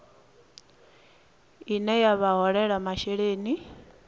ine ya vha holela masheleni